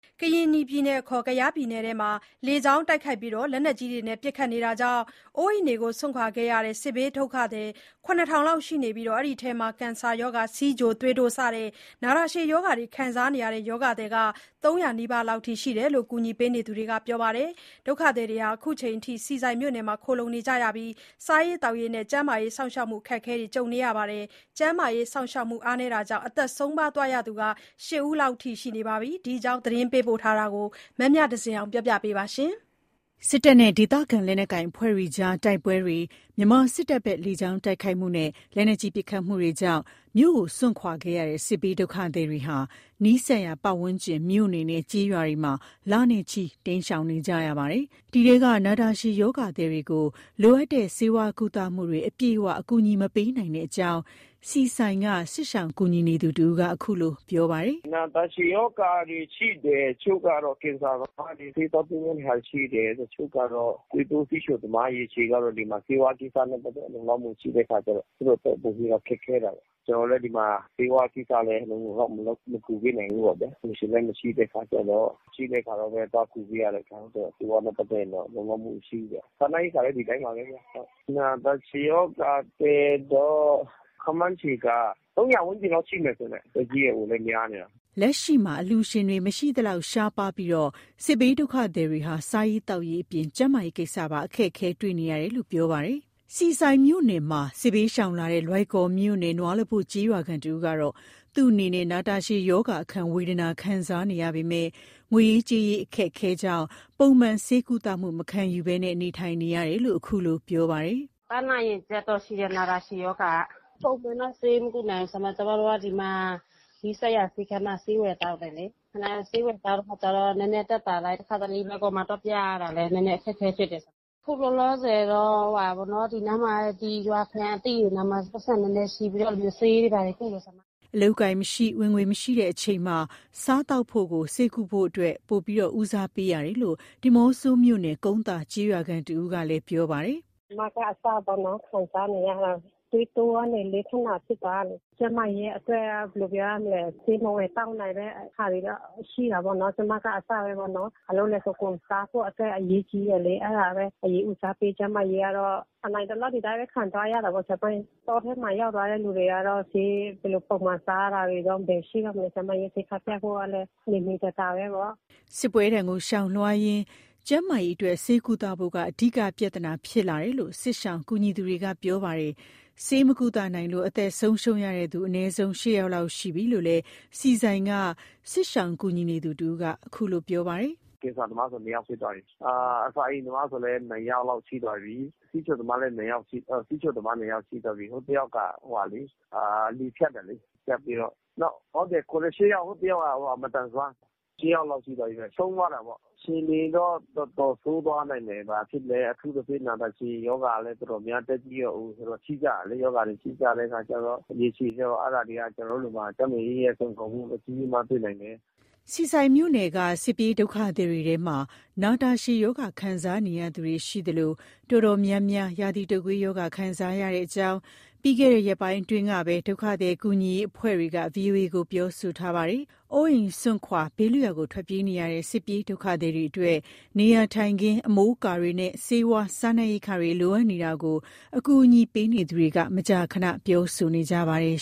ကရင်နီပြည်နယ်အခေါ် ကယားပြည်နယ်အတွင်း လေကြောင်း တိုက်ခိုက်မှုနဲ့ လက်နက်ကြီးပစ်ခတ်မှုတွေကြောင့် မြို့ကို စွန့်ခွာခဲ့ရတဲ့ စစ်ဘေးဒုက္ခသည်တွေ ၇,၀၀၀ လောက် ရှိပြီး အဲ့ဒီအထဲမှာ ကင်ဆာ၊ ဆီးချို၊ သွေးတိုး စတဲ့ နာတာရှည် ရောဂါသည်တွေ ၃၀၀ နီးပါးလောက်ရှိတဲ့အကြောင်း အကူအညီပေးနေသူတွေက ပြောပါတယ်။ ဒုက္ခသည်တွေဟာ ခုချိန်ထိ ဆီဆိုင်မြို့နယ်မှာခိုလှုံနေကြပြီး စားရေးသောက်ရေးအပြင် ကျန်းမာရေးစောင့်ရှောက်ဖို့လည်း အခက်အခဲ ကြုံနေပါတယ်။ ကျန်းမာရေးစောင့်ရှောင်မှုအားနည်းတာမို့ အသက်ဆုံးပါးသွားသူ ၈ ယောက်လောက်ရှိတယ်လို့ ဒုက္ခသည် ကူညီရေးအဖွဲ့တွေက ပြောပါတယ်။ ဒီအကြောင်း သတင်းပေးပို့ချက်ကို မမြဇင်အောင်က တင်ပြထားပါတယ်။ စစ်တပ်နဲ့ ဒေသခံလက်နက်ကိုင်အဖွဲ့တွေအကြား တိုက်ပွဲတွေ၊ မြန်မာစစ်တပ်ရဲ့လေကြောင်းတိုက်ခိုက်မှုနဲ့ လက်နက်ကြီးပစ်ခတ်မှုတွေကြောင့် မြို့ကိုစွန့်ခွာခဲ့ရတဲ့ စစ်ဘေးဒုက္ခသည်တွေဟာ နီးစပ်ရာ ပတ်ဝန်းကျင် မြို့နယ်နဲ့ ကျေးရွာတွေမှာ လနဲ့ချီ တိမ်းရှောင်နေကြရပါတယ်။ အဲ့ဒီထဲက နာတာရှည်ရောဂါသည်တွေကို လိုအပ်တဲ့ ဆေးဝါးကုသမှုတွေ အပြည့်အဝ ကူညီမပေးနိုင်တဲ့အကြောင်း ဆီဆိုင်က စစ်ရှောင်ကူညီနေသူတဦးက ခုလို ပြောပါတယ်။ “နာတာရှည်ရောဂါတွေ ရှိတယ်၊ တချို့ကတော့ ကင်ဆာသမားတွေ။ ဆေးသွားကုရမယ့်ဟာတွေရှိတယ်။ တချို့ကတော့ သွေးတိုး ဆီးချိုသမား၊ ရေရှည်ကတော့ ဒီမှာဆေးဝါးကိစ္စနဲ့ ပတ်သက်တာ လုံလောက်မှုမရှိတဲ့အခါကျတော့ သူတို့အတွက် ပိုပြီးတော့ ခက်ခဲတာပေါ့။ ကျနော်တို့လည်း ဒီမှာ ဆေးဝါးကိစ္စလည်း လုံလုံလောက်လောက် မကူပေးနိုင်ဘူးပေါ့ဗျာ… အလှူရှင်လည်း မရှိတဲ့အခါကျတော့ ရှိတဲ့အခါလောက်ပဲ သွားကူးပေးရတာဆိုတော့ ဆေးဝါးနဲ့ပတ်သက်ရင်တော့ လုံလောက်မှုမရှိဘူးပေါ့ဗျ။ စားနပ်ရိက္ခာလည်း ဒီတိုင်းပါပဲဗျဟုတ်။ နာတာရှည်ရောဂါသည်တော့ ခန့်မှန်ခြေက ၃၀၀ ဝန်းကျင်လောက်ရှိမယ်ထင်တယ် အသက်ကြီးရွယ်အိုလည်း များနေတာ။” လက်ရှိမှာ အလှူရှင်တွေ မရှိသလောက် ရှားပါးလာပြီး စစ်ဘေးဒုက္ခသည်တွေဟာ စားရေးသောက်ရေးအပြင် ကျန်းမာရေးကိစ္စပါ အခက်အခဲ ကြုံတွေ့နေတာလို့ ပြောပါတယ်။ ဆီဆိုင်မြို့နယ်မှာ စစ်ဘေးရှောင်လာတဲ့ လွိုင်ကော်မြို့နယ် နွားလပို့ကျေးရွာခံတဦးကတော့ သူ့အနေနဲ့ နာတာရှည်ရောဂါအခံ ဝေဒနာခံစားနေရပေမဲ့ ငွေရေးကြေးရေးအခက်အခဲကြောင့် ပုံမှန်ဆေးကုသမှု မခံယူရဘဲ နေထိုင်နေရတာလို့ ခုလို ပြောပါတယ်။ “ပန်းနာရင်ကျပ် ရှိတယ်။ နာတာရှည်ရောဂါက ပုံမှန်တော့ ဆေးမကုနိုင်ဘူး။ ကျမတို့က ဒီမှာ နီးစပ်ရာ ဆေးခန်းတွေမှာဆေးဝယ်သောက်တယ်လေ၊ ခဏဆေးဝယ်သောက်တဲ့အခါကျတော့ နည်းနည်းသက်သာလိုက်၊ တခါတလေ လွိုင်ကော်မှာသွားပြရတာလည်း နည်းနည်းအခက်အခဲဖြစ်တယ်။ ခုလောလောဆယ်တော့ ဒီနားမှာ ဒီရွာခံအသိတွေနားမှာ ပိုက်ဆံနည်းနည်းချေးပြီး ဆေးတွေဘာတွေကုတယ်။” အလုပ်အကိုင်မရှိ ဝင်ငွေမရှိတဲ့အချိန်မှာ စားသောက်ဖို့ကို ဆေးကုသဖို့ထက် ပိုပြီး ဦးစားပေးရတယ်လို့ ဒီးမော့ဆိုမြို့နယ် ကုန်းသာကျေးရွာခံတဦးကလည်း ပြောပါတယ်။ “ ကျမကအစပေါ့နော်- ခံစားနေရတာပဲ။ သွေးတိုးကနေ လေးဖက်နာဖြစ်သွားတာလေ။ ကျန်းမာရေးအတွက်က ဘယ်လိုပြောရမလဲ၊ ဆေးမဝယ်သောက်နိုင်တဲ့ဟာတွေတော့ ရှိတာပေါ့နော်။ စားဖို့အတွက် အရေးကြီးတယ်လေ။ အဲ့ဒါပဲ အရင်ဦးစားပေး၊ ကျန်းမာရေးကတော့ နိုင်သလောက် ဒီတိုင်းပဲ ခံသွားရတာပေါ့။ တောထဲမှာ ရောက်သွားတဲ့လူတွေကတော့ ဆေး ဘယ်လိုပုံမှန်ဘစားတာတွေတော့ ဘယ်ရှိတော့မလဲ။ ဆေးခန်းပြဖို့ကလည်းနေနေသာသာပဲပေါ့။'' စစ်ပွဲဒဏ်ကို ရှောင်လွှားရင်း ကျန်းမာရေးအတွက် ဆေးကုသဖို့က အဓိက ပြဿနာ ဖြစ်လာတယ်လို့ စစ်ရှောင်ကူညီသူတွေက ပြောပါတယ်။ ဆေးမကုသနိုင်လို့ အသက်ဆုံးရှုံးရတဲ့သူ အနည်းဆုံး ၈ယောက်ရှိနေပြီးလို့ ဆီဆိုင်က စစ်ရှောင်ကူညီနေသူက ခုလို ဆက်ပြောပါတယ်။ “ကင်ဆာသမားဆို ၂ ယောက်ဖြစ်သွားပြီ။ အစာအိမ်သမားဆိုလည်း ၂ ယောက်လောက်ရှိသွားပြီ။ ဆီးချိုသမားလည်း ၂ ယောက်ရှိသွားပြီ။ ဟို ၂ ယောက်က လေဖြတ်တာလေ၊ ဟို…၈ယောက် တယောက်က မသန်စွမ်း၊ ၈ ယောက်လောက်ရှိသွားပြီဗျ၊ ဆုံးသွားတာပေါ့။ အခြေအနေတော့ တော်တော်ဆိုးသွားနိုင်တယ်။ ဘာဖြစ်လဲ အထူးသဖြင့် နာတာရှည်ရောဂါလည်း တော်တော်များ အသက်ကြီးရွယ်အိုဆိုတော့ ရှိကြတယ်လေ။ ရောဂါတွေ ရှိကြတဲ့အခါကျတော့ ရေရှည်ကျတော့ အဲ့ဒါတွေက ကျန်းမာရေးအရ စိန်ခေါ်မှုအကြီးအမားဖြစ်နိုင်တယ်။” ဆီဆိုင်မြို့နယ်က စစ်ပြေးဒုက္ခသည်တွေထဲမှာ နာတာရှည် ရောဂါခံစားနေရသူတွေ ရှိသလို အတော်များများ ရာသီတုပ်ကွေးရောဂါ ခံစားနေရတဲ့အကြောင်း ပြီးခဲ့တဲ့ ရက်ပိုင်းအတွင်းပဲ ဒုက္ခသည်ကူညီရေးအဖွဲ့တွေက VOA ကို ပြောဆိုထားပါတယ်။ အိုးအိမ်စွန့်ခွာ ဘေးထွတ်ရာကို ထွက်ပြေးနေရတဲ့ စစ်ပြေးဒုက္ခသည်တွေအတွက် နေရာထိုင်ခင်း အမိုးအကာတွေနဲ့ ဆေးဝါး၊ စားနပ်ရိက္ခာတွေ လိုအပ်နေတာကို အကူအညီပေးနေသူတွေက မကြာခန ပြောဆိုနေကြပါတယ်